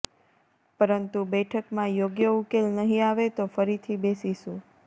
પરંતુ બેઠકમાં યોગ્ય ઉકેલ નહીં આવે તો ફરીથી બેસીશું